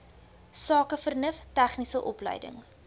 sakevernuf tegniese opleiding